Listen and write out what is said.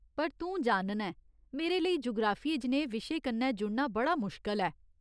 पर तूं जानना ऐं, मेरे लेई जुगराफिये जनेहे विशे कन्नै जुड़ना बड़ा मुश्कल ऐ।